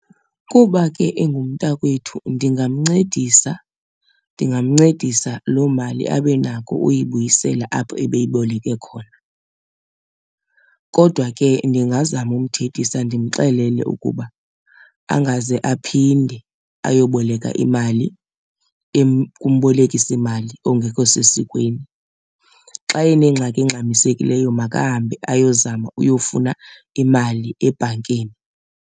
Kuba ke engumntakwethu ndingamncedisa, ndingamncedisa loo mali abe nako uyibuyisela apho ebeyiboleke khona. Kodwa ke ndingazama umthethisa ndimxelele ukuba angaze aphinde ayoboleka imali kumbolekisimali ongekho sesikweni. Xa enengxaki engxamisekileyo makahambe ayozama uyofuna imali ebhankini.